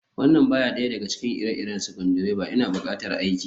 this is not the type of screwdriver I need for the work